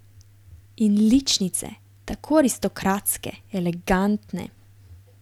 In ličnice, tako aristokratske, elegantne.